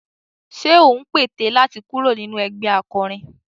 Ṣé ò ń pète láti kúrò nínú ẹgbẹh akọrin?